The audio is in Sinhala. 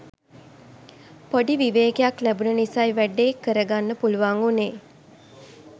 පොඩි විවේකයක් ලැබුන නිසයි වැඩේ කරගන්න පුලුවන් උනේ.